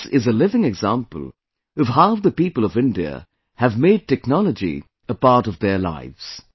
This is a living example of how the people of India have made technology a part of their lives